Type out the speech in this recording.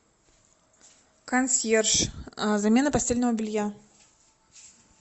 консьерж замена постельного белья